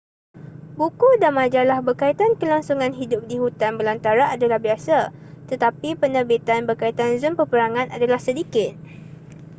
buku dan majalah berkaitan kelangsungan hidup di hutan belantara adalah biasa tetapi penerbitan berkaitan zon peperangan adalah sedikit